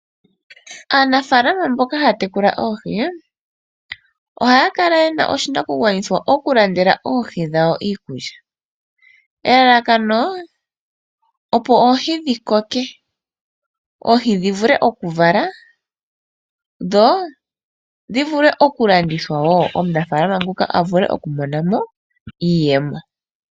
Aanafaalama mboka haya tekula oohi ohaa kala ye na oshinakugwanithwa okulandela oohi dhawo iikulya, elalakano opo oohi dhi koke, oohi dhi vule okuvala, dho dhi vule okulandithwa wo omunafaalama nguka a vule okumona mo iiyemo.